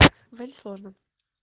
сложно